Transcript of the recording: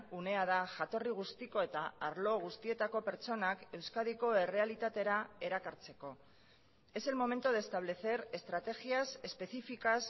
unea da jatorri guztiko eta arlo guztietako pertsonak euskadiko errealitatera erakartzeko es el momento de establecer estrategias específicas